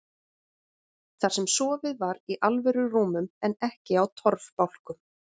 Þar sem sofið var í alvöru rúmum en ekki á torfbálkum.